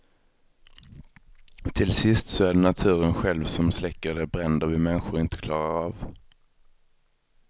Till sist så är det naturen själv, som släcker de bränder vi människor inte klarar av.